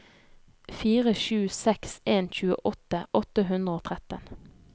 fire sju seks en tjueåtte åtte hundre og tretten